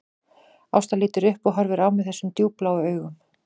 Ásta lítur upp og horfir á mig þessum djúpbláu augum